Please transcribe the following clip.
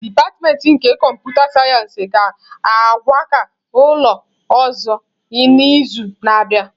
Dipatịmentị nke kọmputa sayensị ga-akwaga n'ụlọ ọzọ n'izu na-abịa.